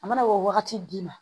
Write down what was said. A mana o wagati d'i ma